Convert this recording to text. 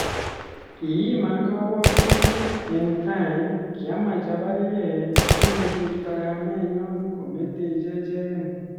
kiiman kabwatutik, en tai kiamach apargee ingosirta kamenyon kometech echegen